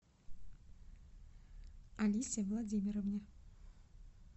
алисе владимировне